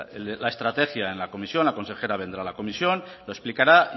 la estrategia en la comisión la consejera vendrá a la comisión lo explicará